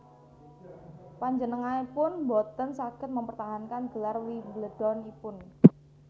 Panjenenganipun boten saged mempertahankan gelar Wimbledon ipun